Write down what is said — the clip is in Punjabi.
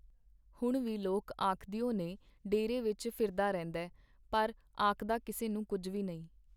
ਹੁਣ ਵੀ ਲੋਕ ਆਖਦਿਓ ਨੇ ਡੇਰੇ ਵਿੱਚ ਫਿਰਦਾ ਰਹਿੰਦੈ, ਪਰ ਆਖਦਾ ਕਿਸੇ ਨੂੰ ਕੁੱਝ ਵੀ ਨਈਂ.